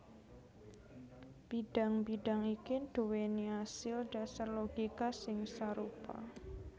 Bidang bidang iki nduwèni asil dhasar logika sing sarupa